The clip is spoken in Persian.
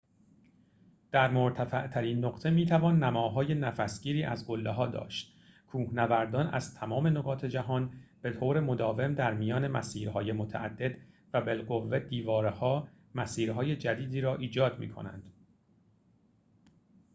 در مرتفع‌ترین نقطه می‌توان نماهای نفس‌گیری از قله‌ها داشت کوهنوردان از تمام نقاط جهان به طور مداوم در میان مسیر‌های متعدد و بالقوه دیواره‌ها مسیرهای جدیدی را ایحاد می‌کنند